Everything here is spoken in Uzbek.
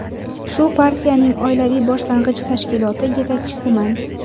Shu partiyaning oilaviy boshlang‘ich tashkiloti yetakchisiman.